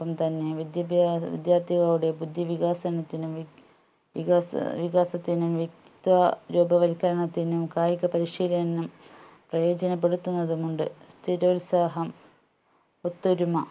പ്പം തന്നെ വിദ്യാഭ വിദ്യാർത്ഥികളുടെ ബുദ്ധി വികാസനത്തിനും വിക വികാസ ഏർ വികാസത്തിനും വ്യക്തിത്വ രൂപ വൽക്കരണത്തിനും കായിക പരിശീലനം പ്രയോജനപ്പെടുത്തുന്നതുമുണ്ട് സ്ഥിരോത്സാഹം ഒത്തൊരുമ